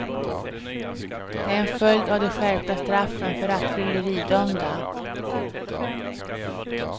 Det är en följd av de skärpta straffen för rattfylleridömda.